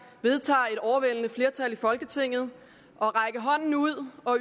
vedtager et overvældende flertal i folketinget at række hånden ud til og